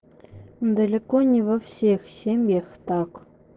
далеко не во всех семьях так